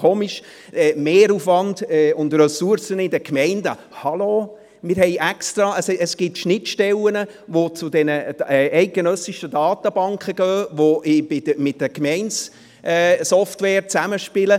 Zum Mehraufwand und den Ressourcen in den Gemeinden: Hallo, wir haben extra Schnittstellen zu den eidgenössischen Datenbanken, die mit den GemeindeSoftwares zusammenspielen.